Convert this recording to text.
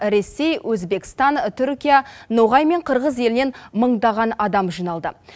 ресей өзбекстан түркия ноғай мен қырғыз елінен мыңдаған адам жиналды